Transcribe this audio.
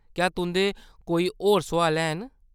क्या तुंʼदे कोई होर सुआल हैन ?